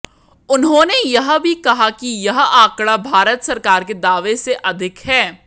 उन्होंने यह भी कहा कि यह आंकड़ा भारत सरकार के दावे से अधिक है